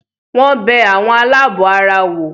Wọ́n bẹ “ àwọn aláàbọ̀ ara” wò.